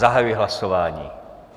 Zahajuji hlasování.